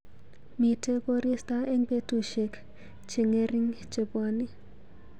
Miite korista eng betusyek cheng'ering chebwani.